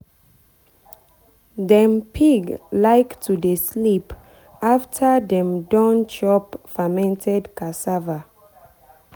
dem pig like to dey sleep after dem don chop fermented cassava.